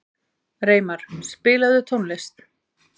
Reimar, spilaðu tónlist.